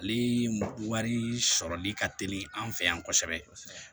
Ale wari sɔrɔli ka teli an fɛ yan kosɛbɛ